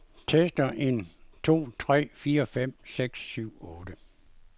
Tester en to tre fire fem seks syv otte.